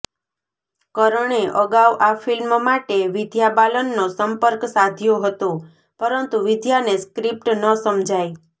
કરણે અગાઉ આ ફિલ્મ માટે વિદ્યા બાલનનો સંપર્ક સાધ્યો હતો પરંતુ વિદ્યાને સ્ક્રિપ્ટ ન સમજાઇ